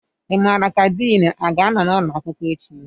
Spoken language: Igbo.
Ị mara ka Din a ga-anọ n'ụlọ akwụkwọ echi?